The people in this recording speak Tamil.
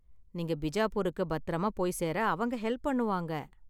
நீங்க பிஜாப்பூருக்கு பத்திரமா போய் சேர அவங்க ஹெல்ப் பண்ணுவாங்க.